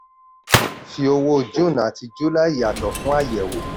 fi owó june àti july yàtọ̀ fún àyẹ̀wò.